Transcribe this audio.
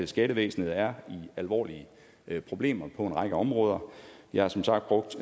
skattevæsenet er i alvorlige problemer på en række områder jeg har som sagt brugt